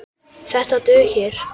Þetta dugir.